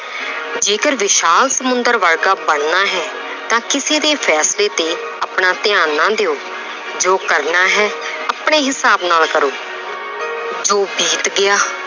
ਜੇਕਰ ਵਿਸ਼ਾਲ ਸਮੁੰਦਰ ਵਰਗਾ ਬਣਨਾ ਹੈ ਤਾਂ ਕਿਸੇ ਦੇ ਫੈਸਲੇ ਤੇ ਆਪਣਾ ਧਿਆਨ ਨਾ ਦਿਓ ਜੋ ਕਰਨਾ ਹੈ ਆਪਣੇ ਹਿਸਾਬ ਨਾਲ ਕਰੋ ਜੋ ਬੀਤ ਗਿਆ